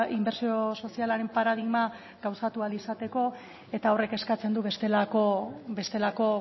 inbertsio sozialaren paradigma gauzatu ahal izateko eta horrek eskatzen du bestelako